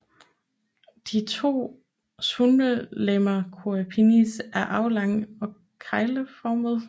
De to svulmelegemer crura penis er aflange og kegleformede